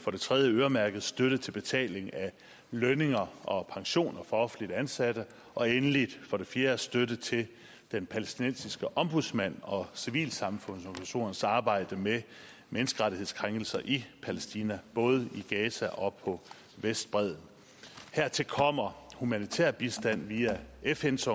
for det tredje øremærket støtte til betaling af lønninger og pensioner for offentligt ansatte og endelig for det fjerde støtte til den palæstinensiske ombudsmand og civilsamfundsorganisationers arbejde med menneskerettighedskrænkelser i palæstina både i gaza og på vestbredden hertil kommer humanitær bistand via fns